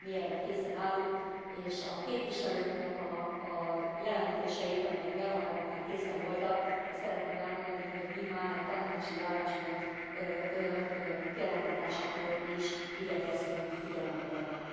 Mi erre készen állunk és a képviselőknek a jelentéseit, amelyek januárban már készen voltak, azt szeretném elmondani, hogy mi már a tanácsi álláspont kialakításakor is igyekeztünk figyelembe venni.